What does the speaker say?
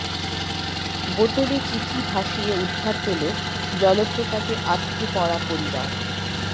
বোতলে চিঠি ভাসিয়ে উদ্ধার পেল জলপ্রপাতে আটকে পড়া পরিবার